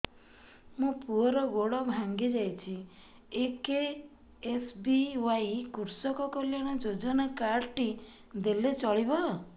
ମୋ ପୁଅର ଗୋଡ଼ ଭାଙ୍ଗି ଯାଇଛି ଏ କେ.ଏସ୍.ବି.ୱାଇ କୃଷକ କଲ୍ୟାଣ ଯୋଜନା କାର୍ଡ ଟି ଦେଲେ ଚଳିବ